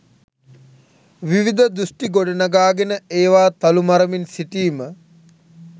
විවිධ දෘෂ්ටි ගොඩනගාගෙන ඒවා තලු මරමින් සිටීම